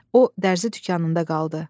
O dərzi dükanında qaldı.